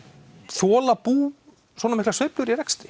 þola bú svona miklar sveiflur í rekstri